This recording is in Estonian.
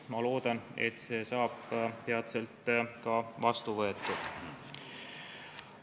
Ma loodan, et see seadus saab peatselt ka vastu võetud.